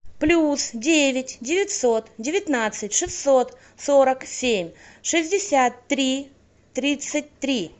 плюс девять девятьсот девятнадцать шестьсот сорок семь шестьдесят три тридцать три